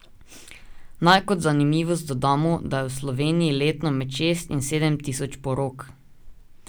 Naj kot zanimivost dodamo, da je v Sloveniji letno med šest in sedem tisoč porok.